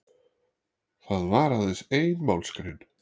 Það var aðeins ein málsgrein